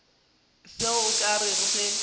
se o ka rego ke